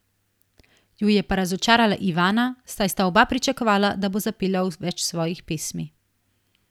Ju je pa razočarala Ivana, saj sta oba pričakovala, da bo zapela več svojih pesmi.